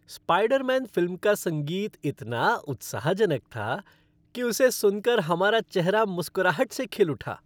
Spiderman film का संगीत इतना उत्साहजनक था कि उसे सुन कर हमारा चेहरा मुस्कराहट से खिल उठा।